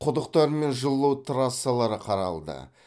құдықтар мен жылу трассалары қаралды